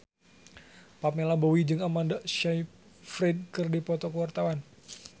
Pamela Bowie jeung Amanda Sayfried keur dipoto ku wartawan